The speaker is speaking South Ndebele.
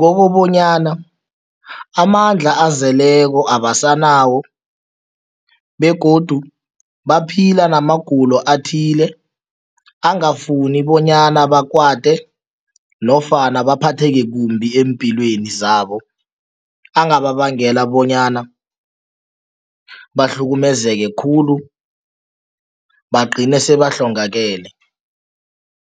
Kokobanyana amandla azeleko abasanawo begodu baphila namagulo athile angafuni bonyana bakwate nofana baphatheke kumbi eempilweni zabo, angababangela bonyana bahlukumezeka khulu bagcine sebahlongakale.